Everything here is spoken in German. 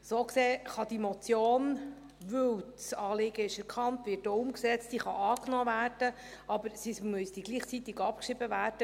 So gesehen kann diese Motion, weil das Anliegen erkannt und umgesetzt ist, angenommen werden, aber sie müsste gleichzeitig abgeschrieben werden.